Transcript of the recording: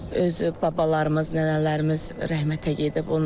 Özü babalarımız, nənələrimiz rəhmətə gedib.